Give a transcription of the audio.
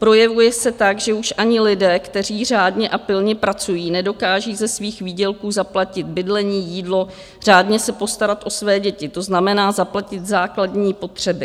Projevuje se tak, že už ani lidé, kteří řádně a pilně pracují, nedokáží ze svých výdělků zaplatit bydlení, jídlo, řádně se postarat o své děti, to znamená zaplatit základní potřeby.